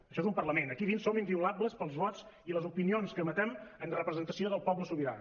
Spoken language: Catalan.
això és un parlament aquí dins som inviolables pels vots i les opinions que emetem en representació del poble sobirà